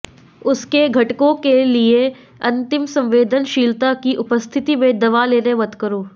उसके घटकों के लिए अतिसंवेदनशीलता की उपस्थिति में दवा लेने मत करो